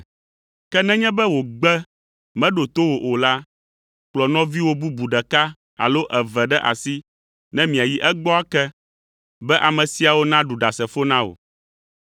Ke nenye be wògbe meɖo to wò o la, kplɔ nɔviwò bubu ɖeka alo eve ɖe asi ne miayi egbɔ ake, be ame siawo naɖu ɖasefo na wò.